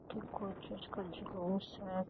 त कोई चीज़ का जुलुस है।